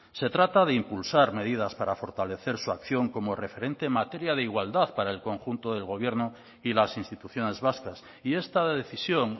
se trata de impulsar medidas para fortalecer su acción como referente en materia de igualdad para el conjunto del gobierno y las instituciones vascas y esta decisión